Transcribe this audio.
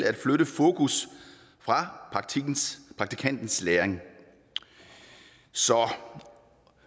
at flytte fokus fra praktikantens læring så